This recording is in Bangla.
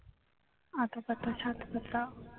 আতা পাতা সাত পাতা